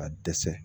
Ka dɛsɛ